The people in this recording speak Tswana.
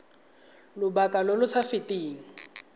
lobaka lo lo sa feteng